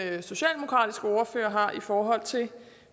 den socialdemokratiske ordfører har i forhold til